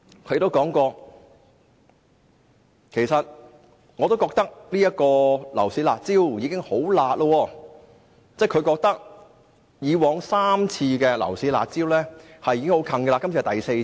她也說過，覺得現時實施的樓市"辣招"已經很"辣"，即是之前3次推出的樓市"辣招"已經很厲害。